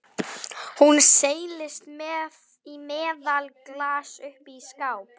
Hún seilist í meðalaglas uppi í skáp.